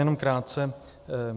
Jenom krátce.